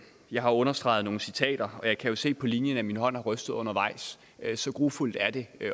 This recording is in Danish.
jeg har understreget nogle citater og jeg kan se på linjen at min hånd har rystet undervejs så grufuldt er det at